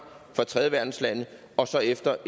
fra tredjeverdenslande og så efter